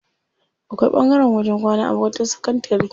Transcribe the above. Akwai ɓangaren wajen kwana a makarantar sakantari.